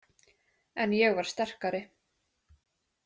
En ég var sterkari.